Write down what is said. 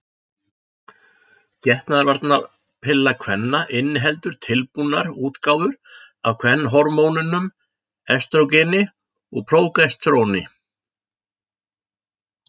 Getnaðarvarnarpilla kvenna inniheldur tilbúnar útgáfur af kvenhormónunum estrógeni og prógesteróni.